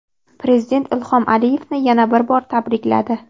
Prezident Ilhom Aliyevni yana bir bor tabrikladi.